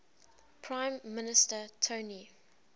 prime minister tony